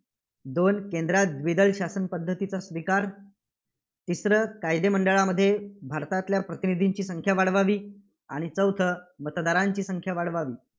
दोन केंद्रात द्विदल शासन पद्धतीचा स्वीकार, तिसरं कायदे मंडळामध्ये भारतातल्या प्रतिनिधींची संख्या वाढवावी, आणि चौथं मतदारांची संख्या वाढवावी.